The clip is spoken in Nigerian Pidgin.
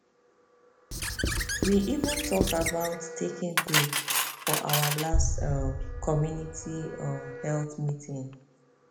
we even talk about taking break for our last um community um health meeting